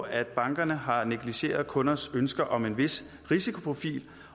at bankerne har negligeret kundernes ønsker om en vis risikoprofil